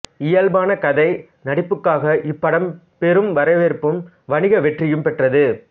இயல்பான கதை நடிப்புக்காக இப்படம் பெரும் வரவேற்பும் வணிக வெற்றியும் பெற்றது